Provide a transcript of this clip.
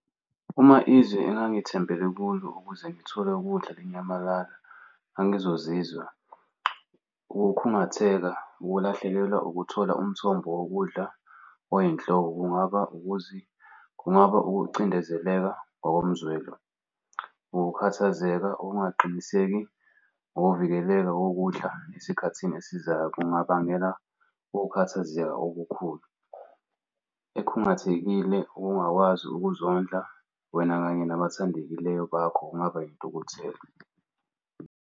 Uma izwi engithembele kulo ukuze ngithole ukudla linyamalala, ngangizozizwa ukukhungatheka ukulahlekelwa ukuthola umthombo wokudla oyinhloko kungaba kungaba ukucindezeleka ngokomzwelo. Ukukhathazeka, ukungaqiniseki ngokuvikelela okudla esikhathini esizayo kungabangela ukukhathazeka okukhulu. Ekhungathekile ungakwazi ukuzondla wena kanye nabathandekileyo bakho kungaba yintukuthelo.